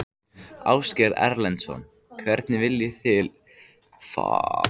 Ásgeir Erlendsson: Hvernig viljið þið sjá að ríkið beiti sér?